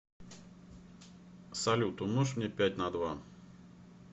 салют умножь мне пять на два